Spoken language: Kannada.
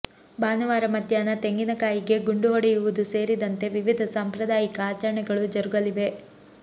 ಭಾನುವಾರ ಮಧ್ಯಾಹ್ನ ತೆಂಗಿನಕಾಯಿಗೆ ಗುಂಡು ಹೊಡೆಯುವುದು ಸೇರಿದಂತೆ ವಿವಿಧ ಸಾಂಪ್ರದಾಯಿಕ ಆಚರಣೆಗಳು ಜರುಗಲಿವೆ